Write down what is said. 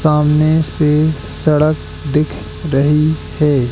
सामने से सड़क दिख रही है।